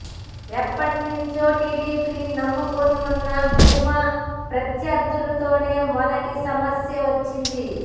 ఎప్పటి నుంచో టిడిపిని నమ్ముకుని ఉన్న భూమా ప్రత్యర్థులతోనే మొదటి సమస్య వచ్చింది